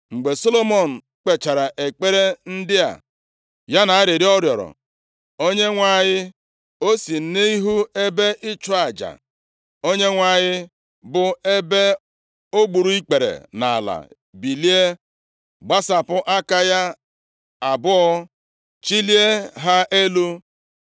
Mgbe Solomọn kpechara ekpere ndị a ya na arịrịọ ọ rịọrọ Onyenwe anyị o si nʼihu ebe ịchụ aja Onyenwe anyị, bụ ebe o gburu ikpere nʼala, bilie, gbasapụ aka ya abụọ chilie ha elu.